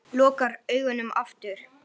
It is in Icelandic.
Lokar augunum aftur.